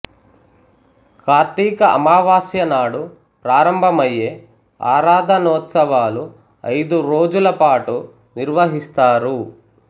కార్తీక అమావాస్య నాడు ప్రారంభమయ్యే ఆరాధనోత్సవాలు ఐదు రోజుల పాటు నిర్వహిస్తారు